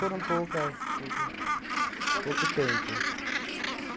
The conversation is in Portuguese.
poucas pouca, pouco tempo.